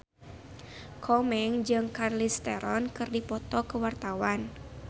Komeng jeung Charlize Theron keur dipoto ku wartawan